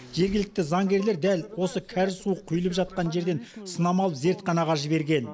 жергілікті заңгерлер дәл осы кәріз суы құйылып жатқан жерден сынама алып зертханаға жіберген